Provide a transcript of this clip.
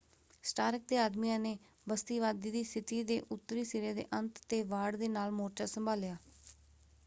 ਸਟਾਰਕ ਦੇ ਆਦਮੀਆਂ ਨੇ ਬਸਤੀਵਾਦੀ ਦੀ ਸਥਿਤੀ ਦੇ ਉੱਤਰੀ ਸਿਰੇ ਦੇ ਅੰਤ 'ਤੇ ਵਾੜ ਦੇ ਨਾਲ ਮੋਰਚਾ ਸੰਭਾਲਿਆ।